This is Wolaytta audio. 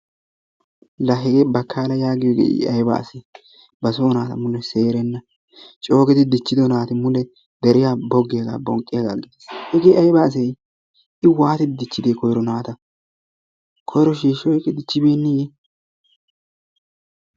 Laa hegee Bakaala yaagiyoge I ayba asee basoo naata mulle seerenna coogidi dichido naati mule deriyan bogiyagaa bonqqiyaga. hegee ayba asee I waati dichidee koyro naata. koyro shiishi oykki dichibeeneeye?